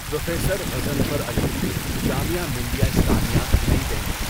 Professor Ghazanfar Ali, Jamia Millia Islamia, Nayi Delhi.